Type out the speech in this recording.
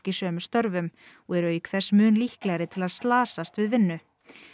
í sömu störfum og eru auk þess mun líklegri til að slasast við vinnu